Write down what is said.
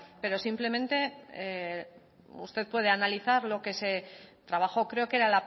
pero simplemente usted puede analizar lo que se trabajó creo que era